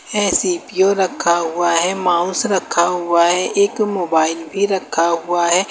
ये सी_पी_यू रखा हुआ है माउस रखा हुआ है एक मोबाइल भी रखा हुआ है।